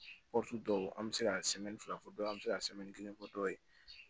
dɔw an bɛ se ka fila fɔ dɔ ye an bɛ se ka kelen fɔ dɔ ye